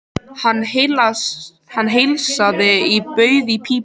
Hann heilsaði og bauð í pípu.